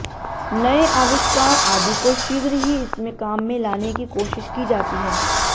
नये आविष्कार आदि को शीघ्र ही इसमें काम में लाने की कोशिश की जाती है